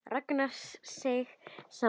Ragnar seig saman í sætinu.